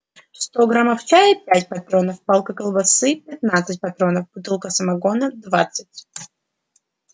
сто граммов чая пять патронов палка колбасы пятнадцать патронов бутылка самогона двадцать